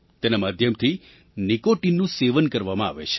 તેના માધ્યમથી નિકૉટિનનું સેવન કરવામાં આવે છે